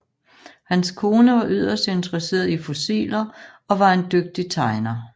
Hans kone var yderst interesseret i fossiler og var en dygtig tegner